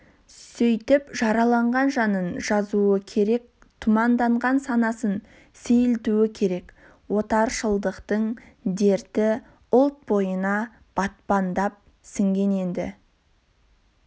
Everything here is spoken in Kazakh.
сөйтіп жараланған жанын жазуы керек тұманданған санасын сейілтуі керек отаршылдықтың дерті ұлт бойына батпандап сіңген енді